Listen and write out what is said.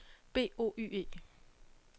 B O Y E